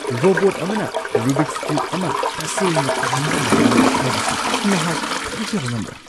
Robot ꯑꯃꯅ Rubik's ꯀ꯭ꯌꯨꯕ ꯑꯃ ꯇꯁꯦꯡꯅ ꯇꯥꯍꯟꯕ ꯉꯝꯃꯤ ꯍꯥꯏꯕꯁꯤ ꯅꯍꯥꯛ ꯊꯥꯖꯕ ꯉꯝꯕ꯭ꯔꯥ ?